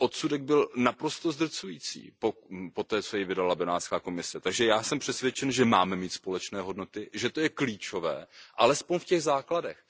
Ten odsudek byl naprosto zdrcující poté, co jej vydala Benátská komise, takže já jsem přesvědčen, že máme mít společné hodnoty, že je to klíčové alespoň v těch základech.